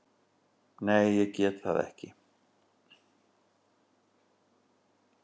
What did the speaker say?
Nei, ég get það ekki.